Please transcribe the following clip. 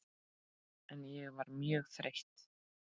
En ég var mjög þreytt.